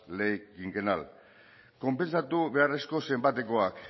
ley quinquenal konpentsatu beharreko zenbatekoak